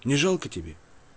не жалко тебе